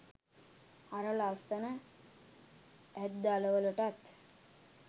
අර ලස්සන ඇත් දළවලටත්